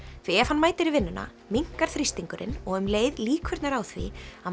því ef hann mætir í vinnuna minnkar þrýstingurinn og um leið líkurnar á því að